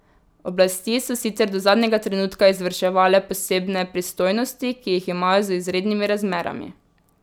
Oblasti so sicer do zadnjega trenutka izvrševale posebne pristojnosti, ki jih imajo z izrednimi razmerami.